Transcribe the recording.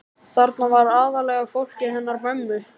Þarna var aðallega fólkið hennar mömmu.